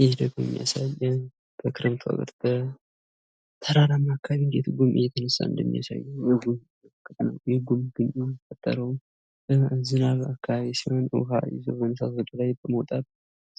ይህ ደግሞ የሚያሳየን ተራራማ አካባቢ ላይ እንዴት ጉም እየተነሳ እንደሚሄድ የሚያሳይ ሲሆን፤ ይህ ጉም የሚፈጠረውም በዝናባማ አካባቢ ውሃ ይዞ ወደ ላይ በመውጣት